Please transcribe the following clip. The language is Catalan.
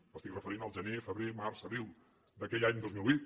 m’estic referint a gener febrer març abril d’aquell any dos mil vuit